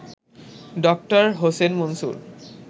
ড. হোসেন মনসুর